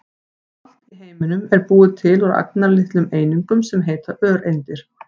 Allt í heiminum er búið til úr agnarlitlum einingum sem heita öreindir.